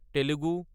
Telugu